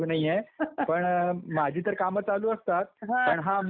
पण माझी तर कामं चालू असतात पण हा आमचा अर्जुन